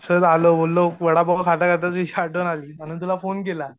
सहज आलो बोललो वडापाव खाता खाताच तुझी आठवण आली म्हणून तुला फोन केला.